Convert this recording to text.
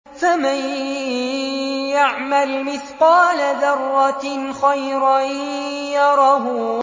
فَمَن يَعْمَلْ مِثْقَالَ ذَرَّةٍ خَيْرًا يَرَهُ